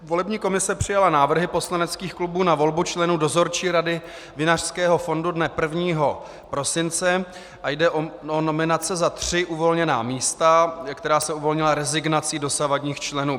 Volební komise přijala návrhy poslaneckých klubů na volbu členů Dozorčí rady vinařského fondu dne 1. prosince a jde o nominace za tři uvolněná místa, která se uvolnila rezignací dosavadních členů.